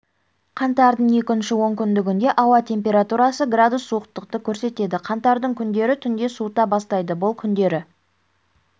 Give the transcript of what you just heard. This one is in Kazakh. қаңтардың екінші онкүндігінде ауа температурасы градус суықтықты көрсетеді қаңтардың күндері түнде суыта бастайды бұл күндері